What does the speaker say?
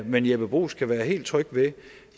men jeppe bruus kan være helt tryg ved